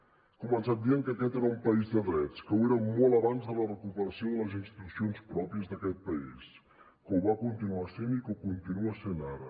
he començat dient que aquest era un país de drets que ho era molt abans de la recuperació de les institucions pròpies d’aquest país que ho va continuar sent i que ho continua sent ara